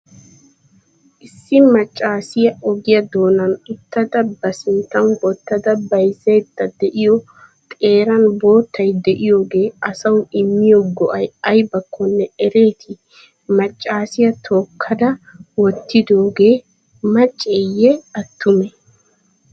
issi maccasiya ogiya doonan uttada ba sinttan wotada bayzaydda de'iyo xeeran bottay de'iyogee asawu immiyo go'ay aybaakkonne ereeti? maccassiya tookkada wotidogee macceye attume?